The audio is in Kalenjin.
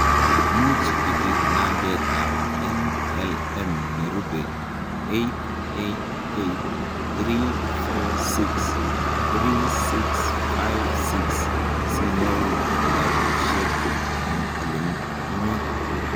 Much ibir nambetab NLM nerube 888 346 3656 sinyoru kitabushek eng' ole imi.